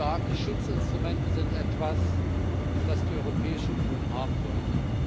Starke Schutzinstrumente sind etwas, das die Europäische Union haben sollte.